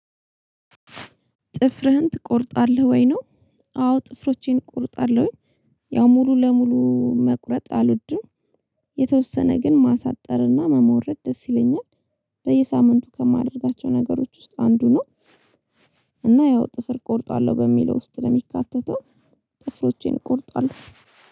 ጥፍርህን ትቆርጣለህ ወይ ነው? አዎ ጥፍሮቼን እቆርጣለሁ ያው ሙሉ ለሙሉ መቁረጥ አልወድም። የተወሰነ ግን ማሳጠርና መሞረድ ደስ ይለኛል። በየሳምንቱ ከማደርጋቸው ነገሮች ውስጥ አንዱ ነው። እና ያው ጥፍር እቆርጣለሁ በሚለው ውስጥ ነው የሚካተተው። ጥፍሮቼን እቆርጣለሁ